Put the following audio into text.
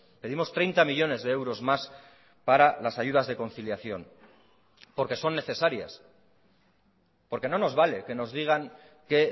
pedimos treinta millónes de euros más para las ayudas de conciliación porque son necesarias porque no nos vale que nos digan que